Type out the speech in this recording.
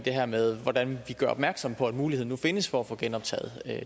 her med hvordan vi gør opmærksom på at muligheden nu findes for at få genoptaget